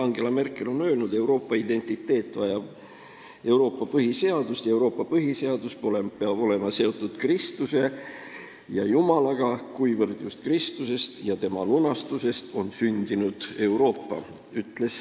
Angela Merkel on öelnud nii: "Euroopa identiteet vajab Euroopa põhiseadust ja Euroopa põhiseadus peab olema seotud Kristuse ja Jumalaga, kuivõrd just Kristusest ja tema lunastusest on sündinud Euroopa.